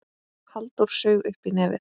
Halldór saug upp í nefið.